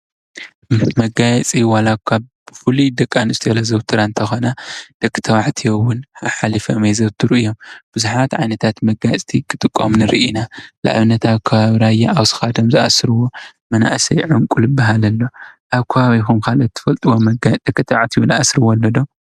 መጋየፂ ዋላኳ ብፍሉይ ደቂ ኣንስትዮ ዘዘውትራ እንትኾና ደቂ ተባዕትዮ እውን ሓሓሊፎም የዘውትሩ እዮም። ብዙሓት ዓይነት መጋየፅቲ ክጥቀሙ ንርኢ ኢና። ንኣብነት ኣብ ከባቢ ራያ ኣብ ክሳዶም ዝኣስርዎ ዑንቂ ዝብሃል ኣሎ። ኣብ ከባቢኩም ከ እትፈልጥዎም ደቂ ተባዕትዮ ዝኣስርዎ ኣሎዶ?